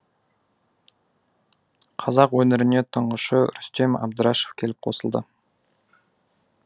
қазақ өнеріне тұңғышы рүстем әбдірашев келіп қосылды